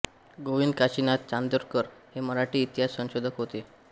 गोविंद काशीनाथ चांदोरकर हे मराठी इतिहास संशोधक होते